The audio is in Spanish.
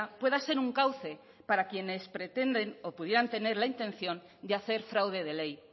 pueda ser un cauce para quienes pretende o pudieran tener la intención de hacer fraude de ley